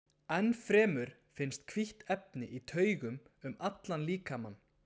Enn fremur finnst hvítt efni í taugum um allan líkamann.